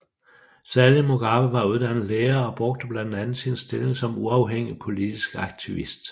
Sally Mugabe var uddannet lærer og brugte blandt andet sin stilling som uafhængig politisk aktivist